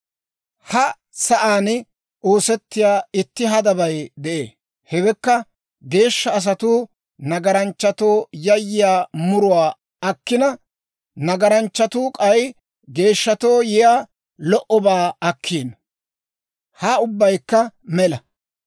Ha sa'aan oosettiyaa itti hadabay de'ee; hewekka, geeshsha asatuu nagaranchchatoo yiyaa muruwaa akkina, nagaranchchatuu k'ay, geeshshatoo yiyaa lo"obaa akkiino. Ha ubbaykka mela.